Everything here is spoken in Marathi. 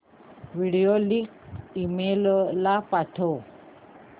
व्हिडिओ लिंक ईमेल ला पाठव